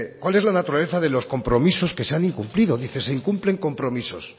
cuál es la naturaleza de los compromisos que se han incumplido dice se incumplen compromisos